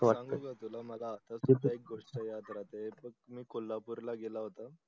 सांगू का तुला मला अधरपूरच एक गोष्ट याद राहते हे बग मी कोलपूरला गेला होता